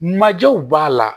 Majew b'a la